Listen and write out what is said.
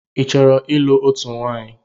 Ị chọrọ ịlụ otú nwaanyị?